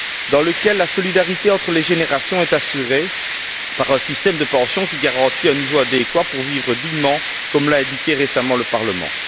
dans lequel la solidarité entre les générations est assurée par un système de pension qui garantit un niveau adéquat pour vivre dignement, comme l'a indiqué récemment le Parlement.